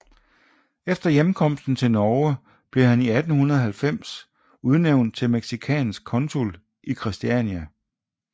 Efter hjemkomsten til Norge blev han i 1890 udnævnt til mexicansk konsul i Christiania